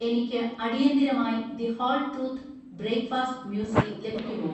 എനിക്ക് അടിയന്തിരമായി The Whole Truth breakfast muesli ലഭിക്കുമോ?